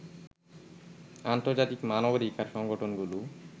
আন্তর্জাতিক মানবাধিকার সংগঠনগুলোও